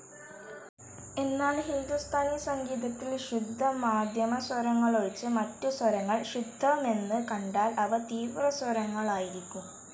എന്നാൽ ഹിന്ദുസ്ഥാനി സംഗീതത്തിൽ ശുദ്ധമാധ്യമസ്വരങ്ങളൊഴിച്ച് മറ്റ് സ്വരങ്ങൾ ശുദ്ധമെന്ന് കണ്ടാൽ അവ തീവ്രസ്വരങ്ങളായിരിക്കും.